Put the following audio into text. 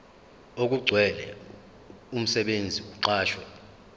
okugcwele umsebenzi oqashwe